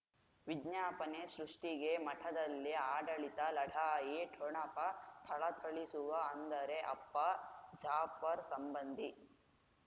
ವಿಜ್ಞಾಪನೆ ಸೃಷ್ಟಿಗೆ ಮಠದಲ್ಲಿ ಆಡಳಿತ ಲಢಾಯಿ ಠೊಣಪ ಥಳಥಳಿಸುವ ಅಂದರೆ ಅಪ್ಪ ಜಾಫರ್ ಸಂಬಂಧಿ